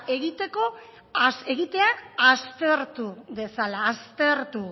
egitea aztertu dezala aztertu